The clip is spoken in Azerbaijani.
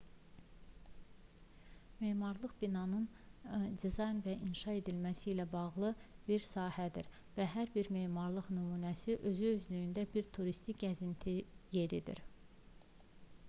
memarlıq binaların dizayn və inşa edilməsi ilə bağlı bir sahədir və hər bir memarlıq nümunəsi özü-özlüyündə bir turistik gəzinti yeridir